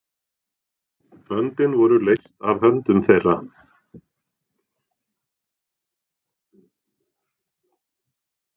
Böndin voru leyst af höndum þeirra.